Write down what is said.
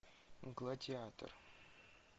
гладиатор